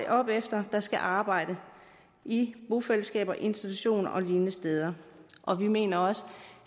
og opefter der skal arbejde i bofællesskaber institutioner og lignende steder og vi mener også